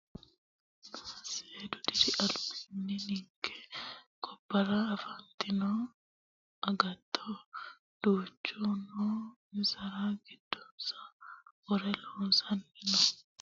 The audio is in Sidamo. Seedu diri albaani ninke gobbara afantino agatto duucha no insara giddonsa wore loonsanniri no daafira mannu hakkuri bade afe horonsirano horo hoolonnire ikka hoogirono uyittano horonna gawajo bikka anfe buunxe horonsira dibushshano.